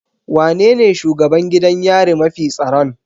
Wanene shugaban gidan yari mafi tsaron?